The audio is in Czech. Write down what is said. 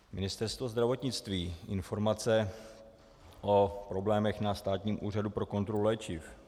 Ministerstvo zdravotnictví, informace o problémech na Státním úřadu pro kontrolu léčiv.